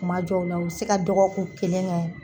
Kuma jɔw la u be se ka dɔgɔkun kelen kɛ.